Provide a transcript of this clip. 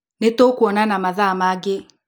Nĩtũkuonana mathaa mangĩ.